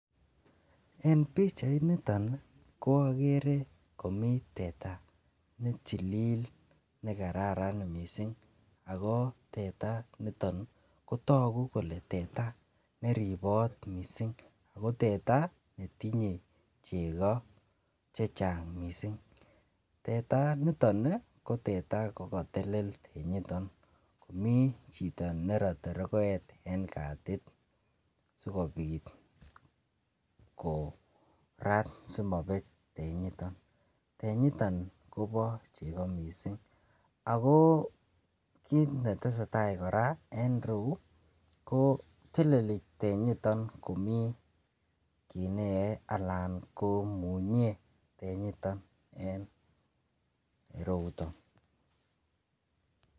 En pichainito ko agere komi teta netilil nekaran mising ago teta initon kotagu kole teta ne ribot mising ago teta netinye chego che chang mising. Teta niton kokatel tenyiton. Mi chito nerate rogoet en katit sigopit korat simabet tenyiton. Tenyiton kobo chego mising ago kit neteseta kora en ireu koteleli tenyiton komi kit neyoe anan komunye tenyiton en ereuton.